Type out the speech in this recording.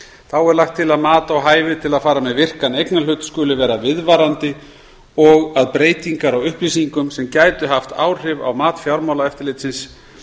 þá er lagt til að mat á hafi til að fara með virkan eignarhlut skuli vera viðvarandi og að breytingar á upplýsingum sem gætu haft áhrif á mat fjármálaeftirlitsins